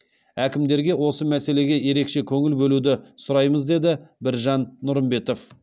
әкімдерге осы мәселеге ерекше көңіл бөлуді сұраймыз деді біржан нұрымбетов